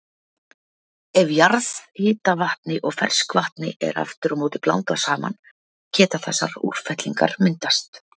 Ef jarðhitavatni og ferskvatni er aftur á móti blandað saman geta þessar útfellingar myndast.